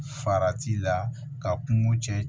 Farati la ka kungo cɛ